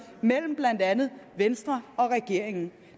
mellem blandt andet venstre og regeringen